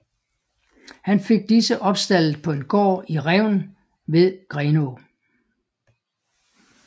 Han fik disse opstaldet på en gård i Revn ved Grenå